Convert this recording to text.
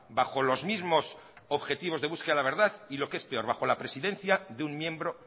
bajo los mismos objetivos de búsqueda de la verdad y lo que es peor bajo la presidencia de un miembro